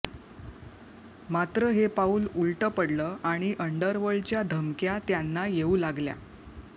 मात्र हे पाऊल उलटं पडलं आणि अंडरवर्ल्डच्या धमक्या त्यांना येऊ लागल्या